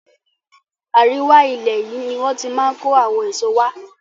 Àríwá ilẹ̀ yìí ni wón ti máa ń kó àwọn èso wá.